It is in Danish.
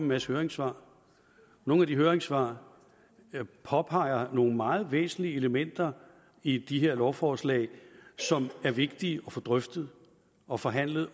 masse høringssvar og nogle af de høringssvar påpeger nogle meget væsentlige elementer i de her lovforslag som er vigtige at få drøftet og forhandlet